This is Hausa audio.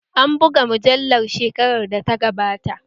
An buga mujallar shekarar da ta gabata